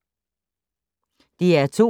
DR2